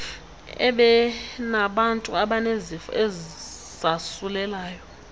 ebinabantu abanezifo ezasulelayo